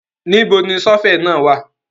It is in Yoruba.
Níbo ni ṣọ́fẹ̀ náà wà?